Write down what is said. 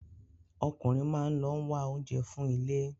Ọkùnrin máa lọ ń wá oúnjẹ wá fún ilé.